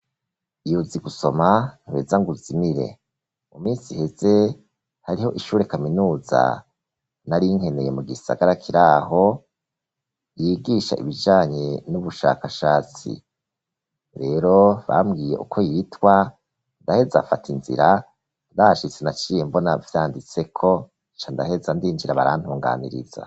Iyo uzi gusoma, ntuheza ngo uzimire; mu minsi iheze, hariho ishure kaminuza, nari nkeneye, mu gisagara kiri aho, yigisha ibijanye n'ubushakashatsi; rero bambwiye uko yitwa, ndaheza nfata inzira; ndahashitse, naciye mbona vyanditseko, nca ndaheza ndinjira, barantunganiriza.